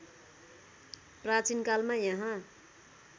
प्राचीनकालमा यहाँ